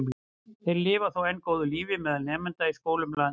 Þeir lifa þó enn góðu lífi meðal nemenda í skólum landsins.